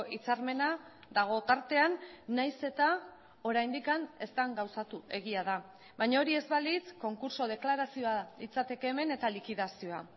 hitzarmena dago tartean nahiz eta oraindik ez den gauzatu egia da baina hori ez balitz konkurtso deklarazioa litzateke hemen eta likidazioa